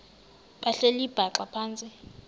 behleli bhaxa phantsi